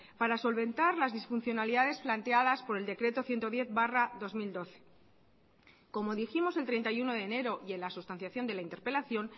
para solventar las disfuncionalidades planteadas por el decreto ciento diez barra dos mil doce como dijimos el treinta y uno de enero y en la sustanciación de la interpelación